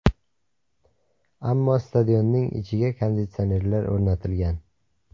Ammo stadionning ichiga konditsionerlar o‘rnatilgan.